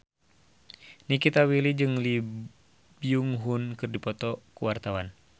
Nikita Willy jeung Lee Byung Hun keur dipoto ku wartawan